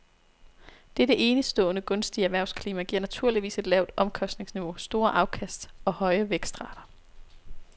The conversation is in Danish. Dette enestående gunstige erhvervsklima giver naturligvis et lavt omkostningsniveau, store afkast og høje vækstrater.